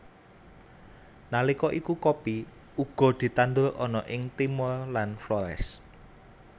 Nalika iku kopi uga ditandur ana ing Timor lan Flores